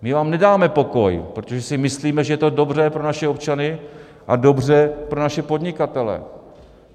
My vám nedáme pokoj, protože si myslíme, že je to dobře pro naše občany a dobře pro naše podnikatele.